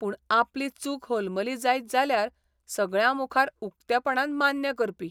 पूण आपली चूक होलमली जायत जाल्यार सगळ्यांमुखार उक्तेपणान मान्य करपी.